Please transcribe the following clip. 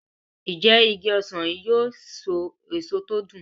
Njé Ìgi ọsán yi yóò so èso tí o dùn?